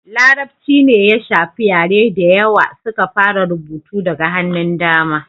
larabci ne ya shafi yare da yawa suka fara rubutu daga hannun dama